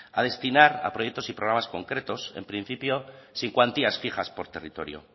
a destinar a proyectos y programas concretos en principio sin cuantías fijas por territorio